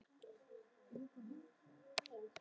En hér er um mikla peninga að tefla, fjársjóð!